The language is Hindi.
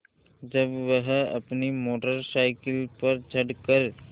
जब वह अपनी मोटर साइकिल पर चढ़ कर